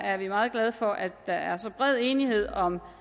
er meget glade for at der er så bred enighed om